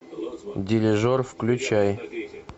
дирижер включай